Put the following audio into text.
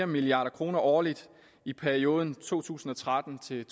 milliard kroner årligt i perioden to tusind og tretten til